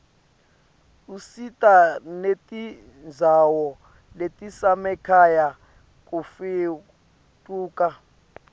usita netindzawo letisemakhaya kutfutfuka